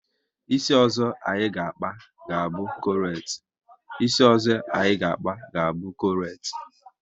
Isi ọzọ anyị ga akpa, ga bụ krochet